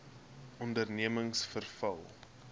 ondernemingsveral